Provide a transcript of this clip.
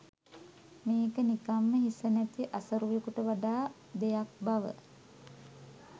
මේක නිකම්ම හිස නැති අසරුවෙකුට වඩා දෙයක් බව.